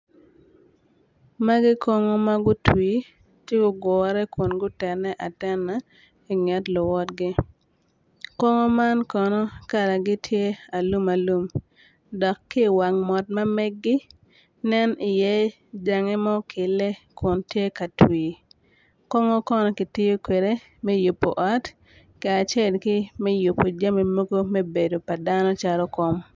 Magi kongo ma gutwi ci gugure kun gutene atena i nget luwotgi kongo man kono kalagi tye alum alum dok ki i wang mot ma meggi nen iye jange ma okelle kun tye ka twi kongo konno kitiyo kwede me yubo ot kacel ki yubo jami mogo me bedo padano calo kom.